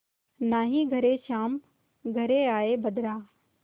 नाहीं घरे श्याम घेरि आये बदरा